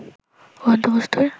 উড়ন্ত বস্তু্র